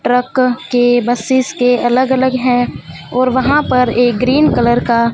truck के buses के अलग अलग है और वहा पे एक ग्रीन कलर का--